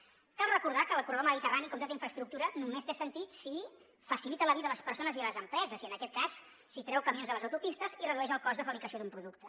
cal recordar que el corredor mediterrani com tota infraestructura només té sentit si facilita la vida a les persones i a les empreses i en aquest cas si treu camions de les autopistes i redueix el cost de fabricació d’un producte